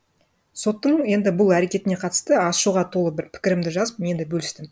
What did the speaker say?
соттың енді бұл әрекетіне қатысты ашуға толы бір пікірімді жазып мен де бөлістім